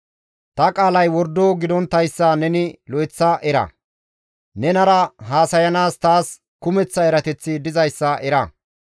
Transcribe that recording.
Ta qaalay wordo gidonttayssa neni lo7eththa era; nenara haasayana taas kumeththa erateththi dizayssa era.